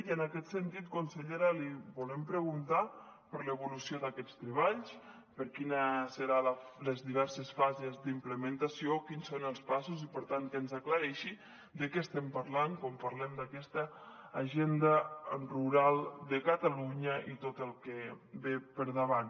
i en aquest sentit consellera li volem preguntar per l’evolució d’aquests treballs per quines seran les diverses fases d’implementació quins són els passos i per tant que ens aclareixi de què estem parlant quan parlem d’aquesta agenda rural de catalunya i tot el que ve per davant